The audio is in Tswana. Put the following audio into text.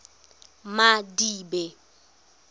madibe